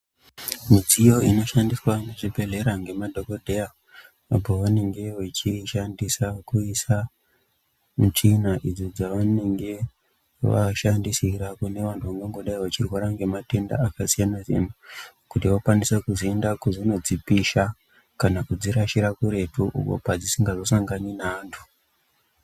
Midziyo inoshandiswa muzvibhedhlera nemadhokodheya pavanenge vachiishandisa kuisa michina idzo dzavanenge vavashandisira kune vantu vangangodaro vachirwara nematenda akasiyana siyana kuti vakwanise kuzodzipisha kana kudzirashira kuretu padzisingazo sangani neantu.